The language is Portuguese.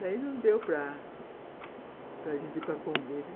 Daí não deu para para a gente ir para o convento.